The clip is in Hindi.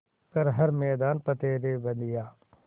कर हर मैदान फ़तेह रे बंदेया